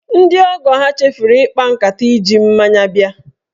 Ndị ọgọọ ya chefuru ịkpa nkata iji mmanya bịa.